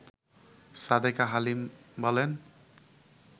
সাদেকা হালিম বলেন